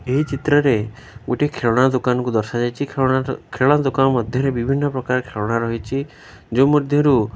ଏହି ଚିତ୍ରରେ ଗୋଟିଏ ଖେଳଣା ଦୋକାନକୁ ଦର୍ଶା ଯାଇଛି। ଖେଳଣା ଦ ଖେଳଣା ଦୋକାନ ମଧ୍ୟରେ ବିଭିନ୍ନ ପ୍ରକାର ଖେଳଣା ରହିଚି ଯୋଉଁ ମଧ୍ୟରୁ --